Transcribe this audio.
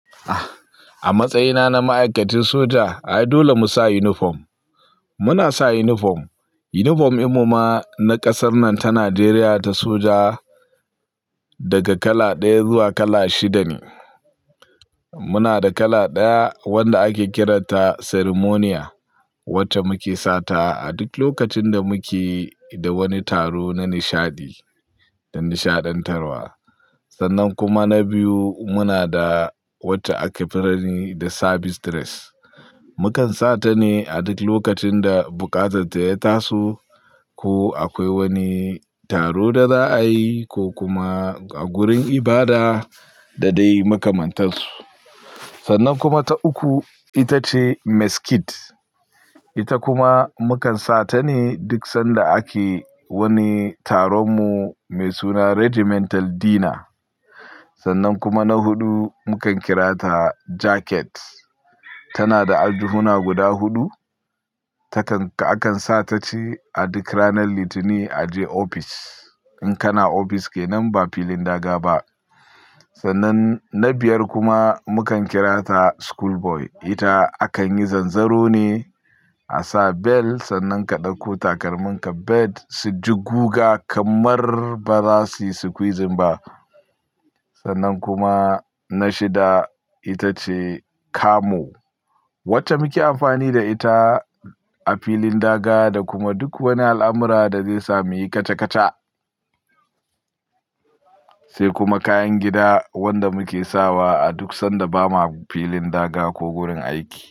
A matsayina na ma'aikacin soja, ai dole mu sa unifom. Muna sa inifom. Unifom din mu ma na ƙasar nan ta Najeriya ta soja daga kala ɗaya zuwa kala shida ne. Muna da kala ɗaya wanda ake kiranta ceremonial wacce muke sata a duk lokacin da muke da wani taro na nishadi da nishaɗantarwa. Sannan kuma na biyu muna da wacce ake kira da service dress. Mukan sa ta ne a duk lokacin da buƙatar ta ya tasu ko akwai wani taro da za a yi ko kuma a gurin ibada da dai makamantansu. Sannan kuma ta uku, ita ce mess kit. Ita kuma mukan sa ta ne duk sanda ake wani taronmu mai suna Regimental Dinner. Sannan kuma na huɗu mukan kira ta jacket. Tana da aljihuna guda huɗu. Takan-- akan sa ta ce a duk ranar Litinin a je ofis in kana ofis ke nan ba filin daga ba. Sannan na biyar kuma mukan kira ta school boy. Ita akan yi zanzaro ne a sa bel sannan ka ɗauko takalminka bel su ji guga kamar ba za su yi squeezing ba. Sannan kuma na shida ita ce camo wacce muke amfani da ita a filin daga da kuma duk wani al'amura da zai sa muyi kaca kaca. Sai kuma kayan gida wanda muke sawa a duk sanda ba ma filin daga ko gurin aiki.